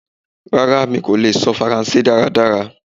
Rara, Emi ko le sọ Faranse daradara.